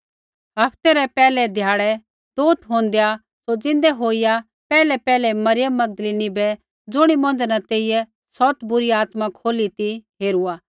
हफ्ते रै पैहलै ध्याड़ै तुआरा बै दोथ होंदेआ सौ ज़िन्दै होईया पैहलैपैहलै मरियम मगदलीनी बै ज़ुणी मौंझ़ै न तेइयै सौत बुरी आत्माएँ खोली ती हेरूई